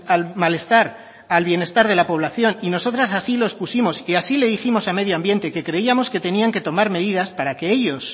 al malestar al bienestar de la población y nosotros así lo expusimos y así le dijimos a medio ambiente que creíamos que tenían que tomar medidas para que ellos